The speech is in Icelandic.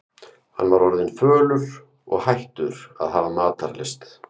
Hann var orðinn fölur og hættur að hafa matarlyst.